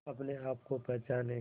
अपने आप को पहचाने